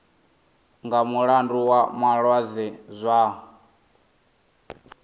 nga mulandu wa malwadze zwao